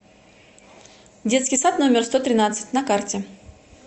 детский сад номер сто тринадцать на карте